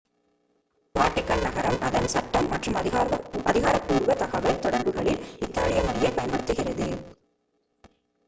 Vatican நகரம் அதன் சட்டம் மற்றும் அதிகாரப்பூர்வ தகவல் தொடர்புகளில் இத்தாலிய மொழியைப் பயன்படுத்துகிறது